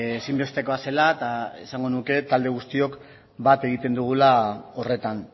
ezinbestekoa zela eta esango nuke talde guztiok bat egiten dugula horretan